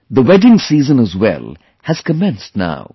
The wedding season as wellhas commenced now